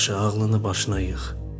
Yaxşı, ağlını başına yığ.